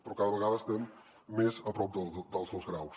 però cada vegada estem més a prop dels dos graus